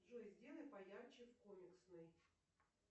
джой сделай поярче в комиксной